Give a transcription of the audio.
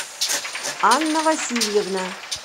анна васильевна